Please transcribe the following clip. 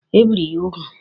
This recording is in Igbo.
Ebìri gị úgwù?